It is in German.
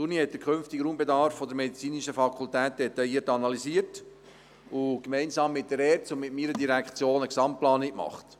Die Universität hat den zukünftigen Raumbedarf der medizinischen Fakultät detailliert analysiert und gemeinsam mit der ERZ sowie mit meiner Direktion eine Gesamtplanung erstellt.